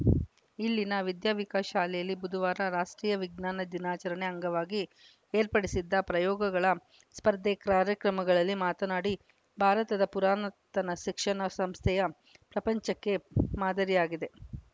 ಇಲ್ಲಿನ ವಿದ್ಯಾ ವಿಕಾಸ ಶಾಲೆಯಲ್ಲಿ ಬುಧವಾರ ರಾಷ್ಟ್ರೀಯ ವಿಜ್ಞಾನ ದಿನಾಚರಣೆ ಅಂಗವಾಗಿ ಏರ್ಪಡಿಸಿದ್ದ ಪ್ರಯೋಗಗಳ ಸ್ಪರ್ಧೆ ಕ್ರಾರ್ಯಕ್ರಮಗಳಲ್ಲಿ ಮಾತನಾಡಿ ಭಾರತದ ಪುರಾಣತನ ಶಿಕ್ಷಣ ಸಂಸ್ಥೆಯ ಪ್ರಪಂಚಕ್ಕೆ ಮಾದರಿಯಾಗಿದೆ